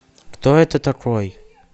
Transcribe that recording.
кто это такой